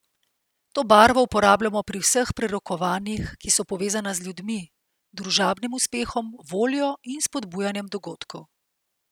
To barvo uporabljamo pri vseh prerokovanjih, ki so povezana z ljudmi, družabnim uspehom, voljo in spodbujanjem dogodkov.